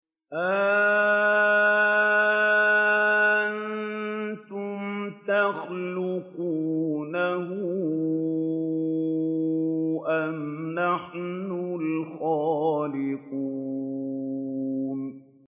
أَأَنتُمْ تَخْلُقُونَهُ أَمْ نَحْنُ الْخَالِقُونَ